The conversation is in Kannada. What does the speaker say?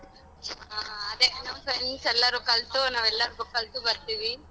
ಹ ಅದೇ ನಮ್ friends ಎಲ್ಲರೂ ಕಲ್ತು ನಾವೆಲ್ಲರ್ಗು ಕಲ್ತು ಬರ್ತೀವಿ.